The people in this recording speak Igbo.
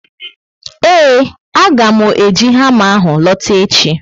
Eee, a ga mụ eji hama ahụ lota echi